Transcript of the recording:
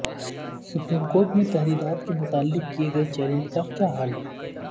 supreme court میں تحدیدات کے متعلق کئے گئے چیالنج کا کیاحال ہے